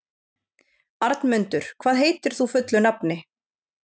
Arnmundur, hvað heitir þú fullu nafni?